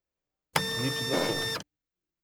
Nič zato.